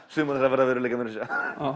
sumar þeirra verða að veruleika meira að segja